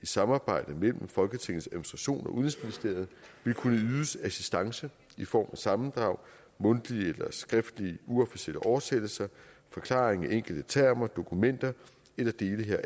samarbejde mellem folketingets administration og udenrigsministeriet vil kunne ydes assistance i form af sammendrag mundtlige eller skriftlige uofficielle oversættelser forklaringer på enkelte termer dokumenter eller dele